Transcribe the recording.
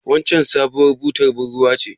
Waccen sabuwar butar bar ruwa ce?